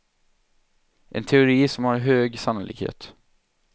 En teori som har en hög sannolikhet.